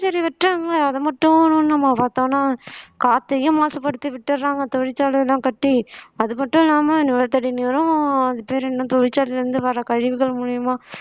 சரி வெட்டுறாங்க அத மட்டும் நம்ம பார்த்தோம்னா காற்றையும் மாசுபடுத்தி விட்டுறாங்க தொழிற்சாலை எல்லாம் கட்டி அது மட்டும் இல்லாம நிலத்தடி நீரும் அது பேர் என்ன தொழிற்சாலையில இருந்து வர்ற கழிவுகள் மூலியமா